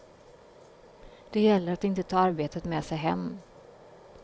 Det gäller att inte ta arbetet med sig hem.